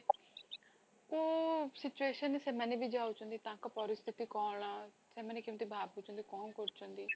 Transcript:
କୋଉ situation ରେ ସେମାନେବି ଯାଉଛନ୍ତି ତାଙ୍କ ପରିସ୍ଥିତି କଣ ସେମାନେ କେମିତି ଭାବୁଛନ୍ତି କଣ କରୁଛନ୍ତି